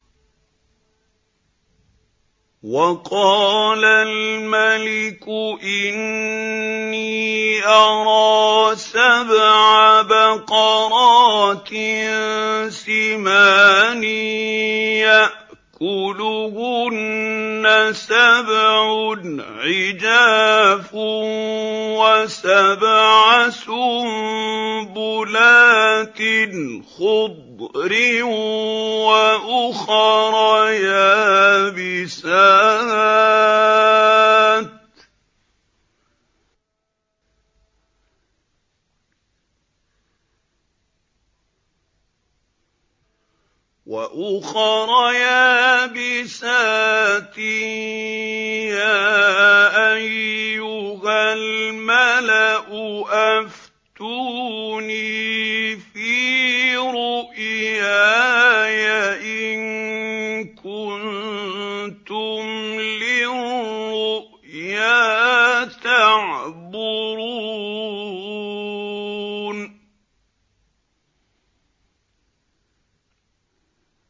وَقَالَ الْمَلِكُ إِنِّي أَرَىٰ سَبْعَ بَقَرَاتٍ سِمَانٍ يَأْكُلُهُنَّ سَبْعٌ عِجَافٌ وَسَبْعَ سُنبُلَاتٍ خُضْرٍ وَأُخَرَ يَابِسَاتٍ ۖ يَا أَيُّهَا الْمَلَأُ أَفْتُونِي فِي رُؤْيَايَ إِن كُنتُمْ لِلرُّؤْيَا تَعْبُرُونَ